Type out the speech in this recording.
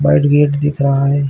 White gate दिख रहा हैं।